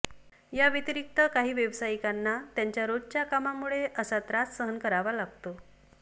याव्यतिरिक्त काही व्यावसायिकांना त्यांच्या रोजच्या कामामुळे असा त्रास सहन करावा लागतो